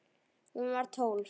Hún var tólf.